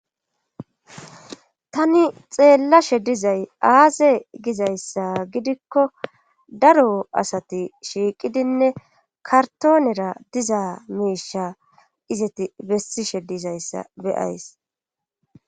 tani xeellashe dizay aaze gizayssa gidikko daro asati shiiqidinne kartoonera diza miisha izati bessishe dizayssa beyays